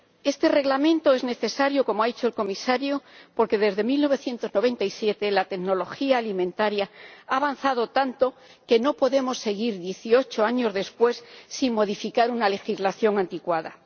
Este Reglamento es necesario, como ha dicho el comisario, porque desde 1997 la tecnología alimentaria ha avanzado tanto que no podemos seguir, dieciocho años después, sin modificar una legislación anticuada.